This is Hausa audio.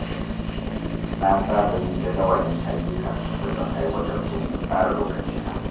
Na saba yin jadawalin ayyuka da zan aiwatar domin tsara lokacina.